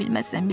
Bilərəm.